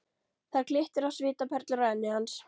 Það glittir á svitaperlur á enni hans.